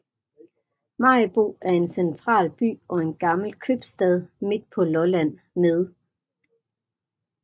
Maribo er en central by og gammel købstad midt på Lolland med